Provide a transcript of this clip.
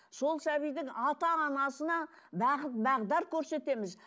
сол сәбидің ата анасына бағыт бағдар көрсетеміз